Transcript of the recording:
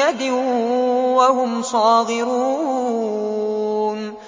يَدٍ وَهُمْ صَاغِرُونَ